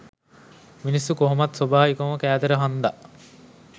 මිනිස්සු කොහොමත් සොබාවිකවකම කෑදර හන්දා